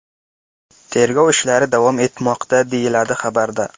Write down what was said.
Tergov ishlari davom etmoqda”, deyiladi xabarda.